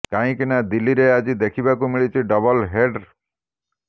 କାହିଁକି ନା ଦିଲ୍ଲୀରେ ଆଜି ଦେଖିବାକୁ ମିଳିଛି ଡବଲ୍ ହେଡ୍ର